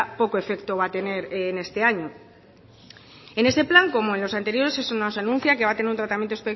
poco efecto va a tener en este año en ese plan como en los anteriores eso nos anuncia que va a tener un tratamiento